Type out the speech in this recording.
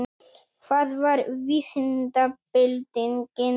Hvað var vísindabyltingin?